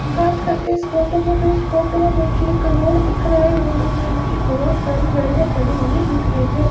बात करते इस फोटो की तो इस फोटो में मुझे एक रोड़ दिख रहा है रोड़ों में मुझे बहोत सारी गाड़ियां खड़ी हुई दिख रही है।